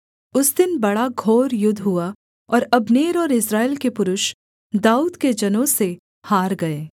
उस दिन बड़ा घोर युद्ध हुआ और अब्नेर और इस्राएल के पुरुष दाऊद के जनों से हार गए